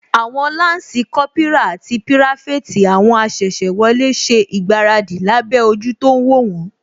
Àwọn lansi Kópírà àti pirafeti àwọn asese wọlé ṣe ìgbáradì lábẹ́ ojú tó ń wó wón